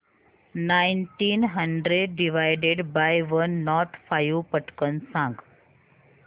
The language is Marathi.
nineteen hundred divided by one nought five पटकन सांग